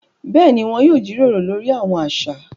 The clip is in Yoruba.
Béèni, wọn yóò jíròrò lori awọn aṣa